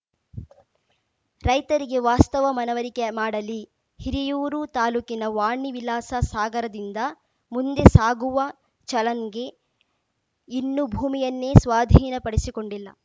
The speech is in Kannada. ರೈತರಿಗೆ ವಾಸ್ತವ ಮನವರಿಕೆ ಮಾಡಲಿ ಹಿರಿಯೂರು ತಾಲೂಕಿನ ವಾಣಿ ವಿಲಾಸ ಸಾಗರದಿಂದ ಮುಂದೆ ಸಾಗುವ ಚಲನ್ ಗೆ ಇನ್ನೂ ಭೂಮಿಯನ್ನೇ ಸ್ವಾಧೀನಪಡಿಸಿಕೊಂಡಿಲ್ಲ